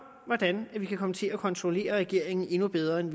hvordan man kan komme til at kontrollere regeringen endnu bedre end